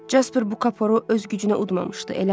Jaspar bu kaporu öz gücünə udmamışdı, eləmi?